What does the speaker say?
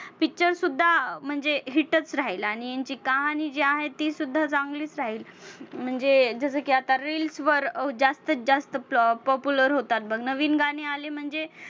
picture सुद्धा म्हणजे hit च राहील आणि यांची कहाणी जी आहे ती सुद्धा चांगलीच आहे, म्हणजे जसं की आता reels वर जास्तीत जास्त popular होतात बघ नवीन गाणी आली म्हणजे